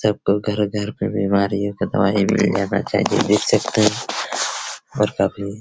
सबको घर घर पे बीमारियों का दवाई मिल जाना चाहिए देख सकते हैं और काफी --